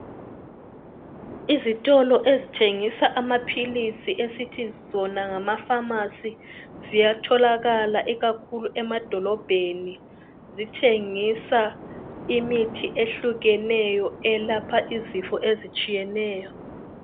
Izitolo ezithengisa amaphilisi esithi sona ngama pharmacy ziyatholakala ikakhulu emadolobhedi zithengisa imithi ehlukeneyo elapha izifo ezitshiyeneyo.